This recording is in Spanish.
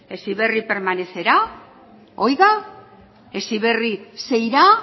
heziberri permanecerá heziberri se irá